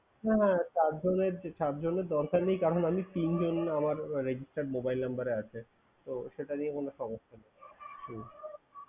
হ্যাঁ হ্যাঁ হ্যাঁ তার জন্যে~ চারজনের জন্য দরকার নেই কারণ, আমি তিনজন আমার registered mobile number এ আছে। তো সেটা নিয়ে কোনো সমস্যা নেই হুম।